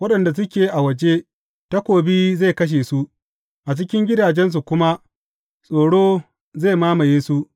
Waɗanda suke a waje, takobi zai kashe su, a cikin gidajensu kuma tsoro zai mamaye su.